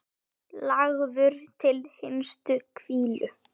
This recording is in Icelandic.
Lagður til hinstu hvílu?